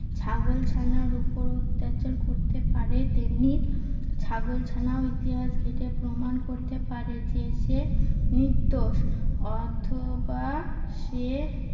ছাগল ছানার উপর অত্যাচার করতে পারে। তেমনি ছাগল ছানাও ইতিহাস ঘেঁটে প্রমান করতে পারে যে সে নির্দোষ। অথবা সে